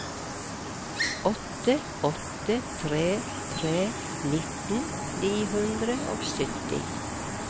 åtte åtte tre tre nitten ni hundre og sytti